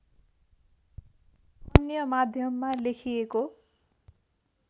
अन्य माध्यममा लेखिएको